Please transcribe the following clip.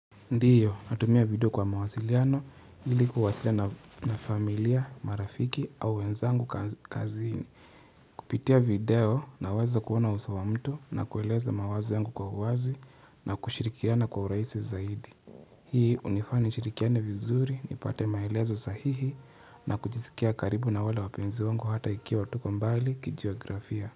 Ndiyo, natumia video kwa mawasiliano, ili kuwasilia na familia, marafiki au wenzangu kazini. Kupitia video, naweza kuona usawa mtu na kueleza mawazi yangu kwa wazi na kushirikiana kwa urahisi zaidi. Hii hunifa nishirikiane vizuri, nipate maelezo sahihi na kujisikia karibu na wale wapenzi wangu hata ikiwa tuko mbali kijiografia.